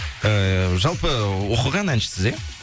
ііі жалпы оқыған әншісіз иә